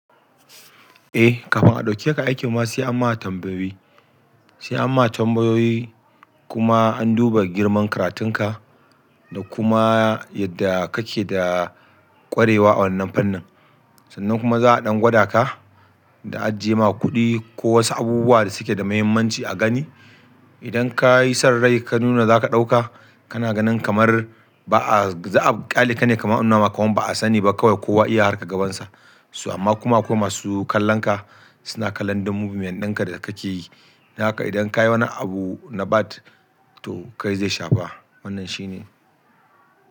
Eh, kafin a ɗauke ka aiki ma sai an ma tambayoyi. Sai an ma tambayoyi kuma an duba girman karatun ka da kuma yadda kake da ƙwarewa a wannan fannin. Sannan kuma za a ɗan gwada ka da ajiye ma kuɗi ko wasu abubuwa da suke da muhimmanci a gani. Idan ka yi san rai ka nuna za ka ɗauka, kana ganin kamar ba a, za a ƙyale ka ne kamar an nuna ma kaman ba a sani ba kawai kowa iya harkar gabansa. So amma kuma akwai masu kallon ka, suna kallon duk movement dinka da kake yi. Dan haka idan kayi wani abu na 'bad', to kai zai shafa, wannan shine.